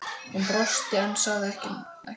Hún brosti en sagði ekkert.